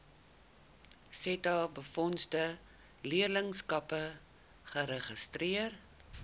setabefondse leerlingskappe geregistreer